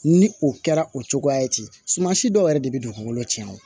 Ni o kɛra o cogoya ye ten suman si dɔw yɛrɛ de be don kuŋolo ciyan o